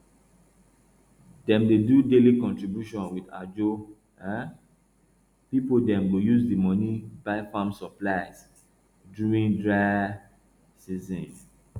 dem dey do daily contribution with ajo um people dem go use the money buy farm supply during dry um season